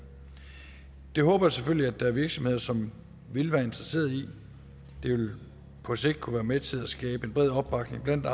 det håber jeg selvfølgelig at der er virksomheder som vil være interesseret i det vil på sigt kunne være med til at skabe en bred opbakning blandt